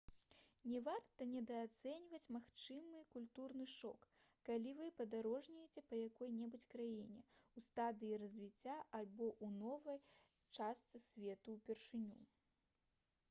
не варта недаацэньваць магчымы культурны шок калі вы падарожнічаеце па якой-небудзь краіне ў стадыі развіцця альбо ў новай частцы свету упершыню